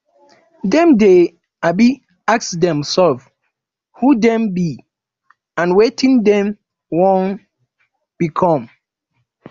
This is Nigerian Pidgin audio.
dem de um ask themselves who them be and wetin dem won become